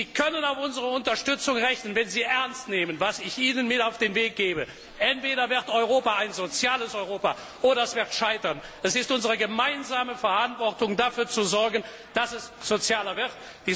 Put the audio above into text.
Sie können auf unsere Unterstützung rechnen, wenn Sie ernst nehmen, was ich Ihnen mit auf den Weg gebe Entweder wird Europa ein soziales Europa oder es wird scheitern. Es ist unsere gemeinsame Verantwortung, dafür zu sorgen, dass es sozialer